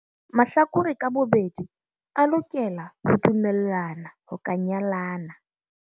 Mahlakore ka bobedi a lokela ho dumellana ho ka nyalana.